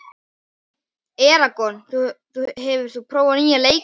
Eragon, hefur þú prófað nýja leikinn?